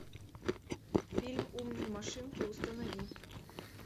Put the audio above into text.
фильм умные машинки установи